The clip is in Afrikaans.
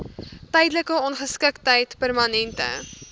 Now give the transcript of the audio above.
tydelike ongeskiktheid permanente